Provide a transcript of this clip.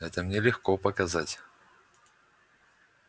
это мне легко показать